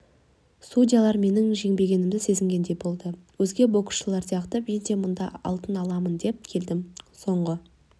судьялар менің жеңбегенімді сезінгендей болды өзге боксышылар сияқты мен де мұнда алтын алам деп келдім соңғы